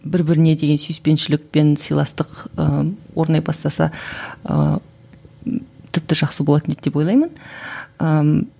бір біріне деген сүйіспеншілік пен сыйластық ыыы орнай бастаса ыыы тіпті жақсы болатын еді деп ойлаймын ыыы